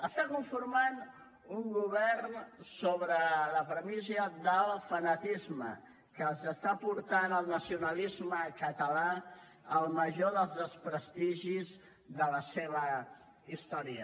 està conformant un govern sobre la premissa del fanatisme que està portant el nacionalisme català al major dels desprestigis de la seva història